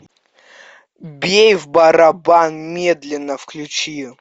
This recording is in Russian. бей в барабан медленно включи